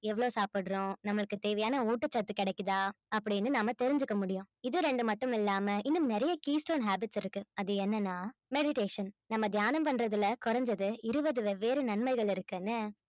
எவ்வளவு சாப்பிடுறோம் நம்மளுக்கு தேவையான ஊட்டசத்து கிடைக்குதா அப்படீன்னு நம்ம தெரிஞ்சுக்க முடியும் இது ரெண்டு மட்டுமில்லாம இன்னும் நிறைய key stone habits இருக்கு அது என்னன்ன meditation நம்ம தியானம் பண்றதுல குறைஞ்சது இருபது வெவ்வேறு நன்மைகள் இருக்குன்னு